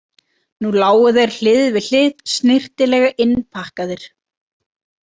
Nú lágu þeir hlið við hlið snyrtilega innpakkaðir.